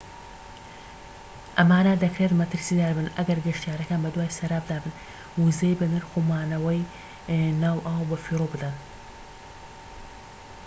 ئەمانە دەکرێت مەترسیدار بن ئەگەر گەشتیارەکان بەدوای سەرابدا بن وزەی بەنرخ و مانەوەی ناو ئاو بەفیڕۆ بدەن